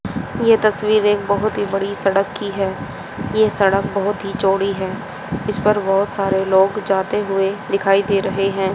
यह तस्वीर एक बहोत बड़ी सड़क की है। यह सड़क बहुत ही चौड़ी है इस पर बहोत सारे लोग जाते हुए दिखाई दे रहे हैं।